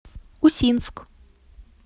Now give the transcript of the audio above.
усинск